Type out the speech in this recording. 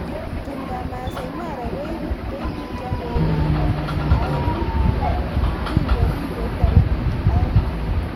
Tumdab Masaai Mara: Koibutyo ndegeinik aengu kingorieb taritik aeng